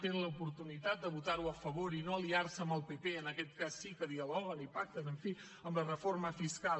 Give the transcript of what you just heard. tenen l’oportunitat de votar ho a favor i no aliar se amb el pp en aquest cas sí que dialoguen i pacten en fi en la reforma fiscal